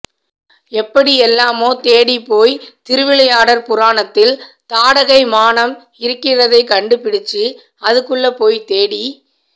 எப்படி எல்லாமோ தேடிப் போயி திருவிளையாடற் புராணத்தில் தாடகை மானம் இருக்கிறதைக் கண்டு பிடிச்சு அதுக்குள்ள போய் தேடி